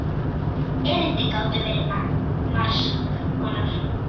Erindin gátu verið margs konar.